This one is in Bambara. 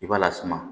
I b'a lasuma